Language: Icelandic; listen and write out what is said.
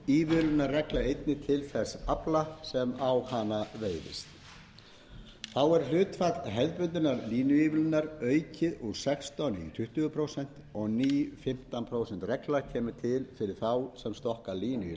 einnig til þess afla sem á hana veiðist þá er hlutfall hefðbundnar línuívilnunar aukið úr sextán prósent í tuttugu prósent og ný fimmtán prósent regla kemur til fyrir þá sem stokka línu í